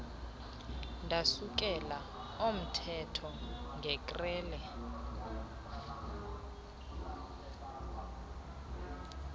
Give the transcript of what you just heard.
ndasukela oomthetho ngekrele